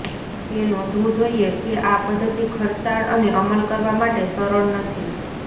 એ નોંધવું જોઇએ કે આ પદ્ધતિ ખર્ચાળ અને અમલ કરવા માટે સરળ નથી